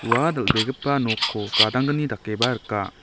ua dal·begipa nokko gadanggni dakeba rika.